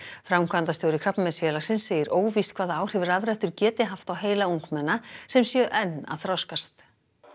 framkvæmdastjóri Krabbameinsfélagsins segir óvíst hvaða áhrif rafrettur geti haft á heila ungmenna sem séu enn að þroskast